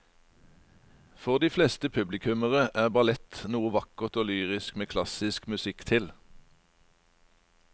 For de fleste publikummere er ballett noe vakkert og lyrisk med klassisk musikk til.